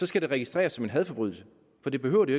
skal det registreres som en hadforbrydelse for det behøver det